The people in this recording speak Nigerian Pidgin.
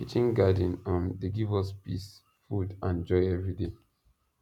kitchen garden um dey give us peace food and joy everyday